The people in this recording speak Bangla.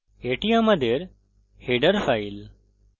এটি আমাদের header file